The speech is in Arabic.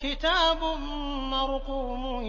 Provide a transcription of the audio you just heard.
كِتَابٌ مَّرْقُومٌ